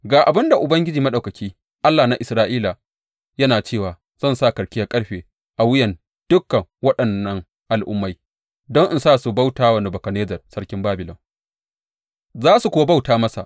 Ga abin da Ubangiji Maɗaukaki, Allah na Isra’ila, yana cewa zan sa karkiyar ƙarfe a wuyan dukan waɗannan al’ummai don in sa su bauta wa Nebukadnezzar sarkin Babilon, za su kuwa bauta masa.